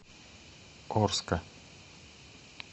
орска